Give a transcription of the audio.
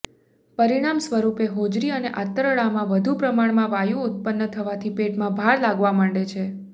પરિણામ સ્વરૂપે હોજરી અને આંતરડામાં વધુ પ્રમાણમાં વાયુ ઉત્પન્ન થવાથી પેટમાં ભાર લાગવા માંડે છે